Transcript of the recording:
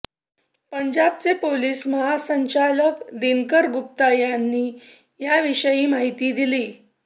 पंजाबचे पोलीस महासंचालक दिनकर गुप्ता यांनी याविषयी माहिती दिली